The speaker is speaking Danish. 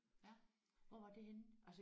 Ja hvor var det henne?